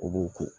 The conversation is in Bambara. U b'u ko